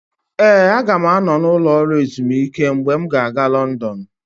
Ee, aga m anọ n'ụlọ ezumike mgbe m ga-aga Lọndọnụ.